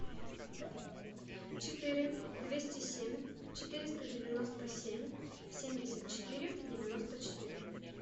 четыре двести семь четыреста девяносто семь семьдесят четыре девяносто четыре